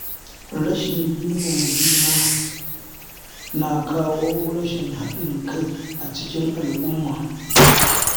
Rashin girmama juna na kawo rashin haɗin kai a cikin al'umma.